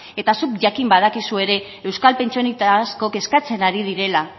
eta zuk jakin badakizu ere euskal pentsionista asko kezkatzen ari direla